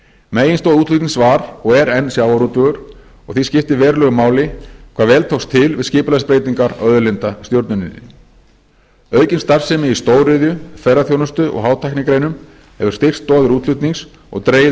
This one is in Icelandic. meginstoð útflutnings var og er enn sjávarútvegur og því skiptir verulegu máli hve vel tókst til við skipulagsbreytingar á auðlindastjórninni aukin starfsemi í stóriðju ferðaþjónustu og hátæknigreinum hefur styrkt stoðir útflutnings og dregið úr